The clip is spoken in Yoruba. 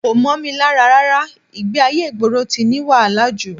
Kò mọ́ mi lára rárá, ìgbé-ayé ìgboro ti ní wàhálà jù